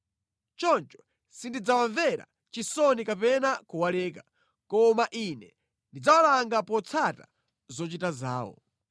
Choncho sindidzawamvera chisoni kapena kuwaleka, koma Ine ndidzawalanga potsata zochita zawo.”